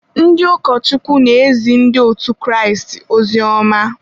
ndị ụkọchukwu na-ezi ndị otu Kraịst ozioma.